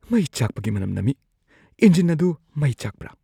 ꯃꯩ ꯆꯥꯛꯄꯒꯤ ꯃꯅꯝ ꯅꯝꯃꯤ꯫ ꯏꯟꯖꯤꯟ ꯑꯗꯨ ꯃꯩ ꯆꯥꯛꯄ꯭ꯔꯥ?